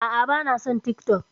A'a, ba na son TikTok.